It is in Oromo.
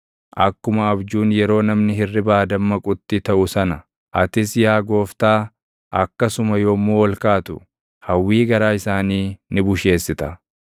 Akkuma abjuun yeroo namni hirribaa dammaqutti taʼu sana, atis yaa Gooftaa, akkasuma yommuu ol kaatu, hawwii garaa isaanii ni busheessita.